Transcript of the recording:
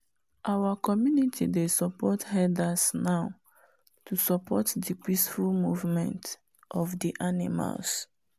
our community dey support herders now to support the peaceful movement of the animals